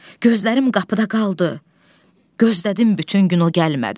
Gözlərim qapıda qaldı, gözlədim bütün gün, o gəlmədi.